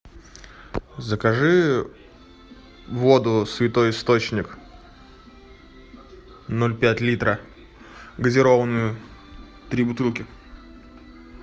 закажи воду святой источник ноль пять литра газированную три бутылки